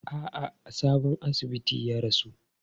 A'a, a sabon asibitin ya rasu.